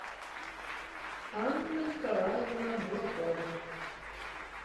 анна николаевна буракова